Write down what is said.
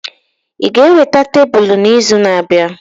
Ị ga-eweta tebụl n'izu na-abịa?